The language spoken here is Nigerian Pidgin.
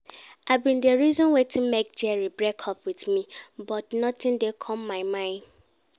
I bin dey reason wetin make Jerry break up with me but nothing dey come my mind